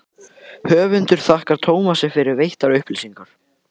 höfundur þakkar tómasi fyrir veittar upplýsingar